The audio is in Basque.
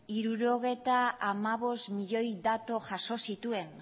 hirurogeita hamabost milioi datu